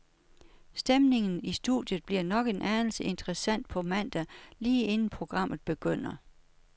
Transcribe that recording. Stemningen i studiet bliver nok en anelse interessant på mandag lige inden programmet begynder.